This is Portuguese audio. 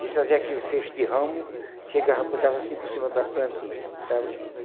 Ele trazia aquele feixe de ramo, chegava, botava assim por cima das plantinhas. Botava